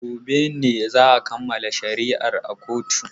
Gobe ne za a kammala shari'ar a kotun.